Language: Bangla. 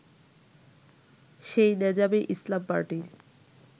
সেই নেজামে ইসলাম পার্টির